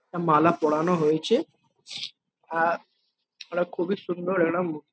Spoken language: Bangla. মালা পরানো হয়েছে। আর একটা খুবই সুন্দর একটা মুখ।